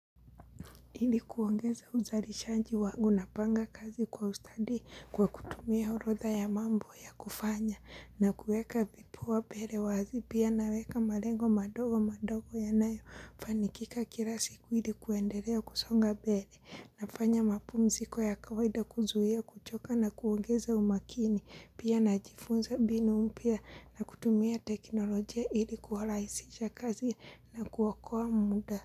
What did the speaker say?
Hili kuongeza uzalishaji wangu napanga kazi kwa ustadi kwa kutumia orodha ya mambo ya kufanya na kueka vipawa mbere wazi pia naweka malengo madogo madogo yanayofanikika kila siku hili kuendelea kusonga bere nafanya mapumziko ya kawaida kuzuhia kuchoka na kuongeza umakini pia na jifunza mbinu mpya na kutumia teknolojia hili kuwa rahisisha kazi na kuokoa muda.